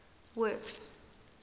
works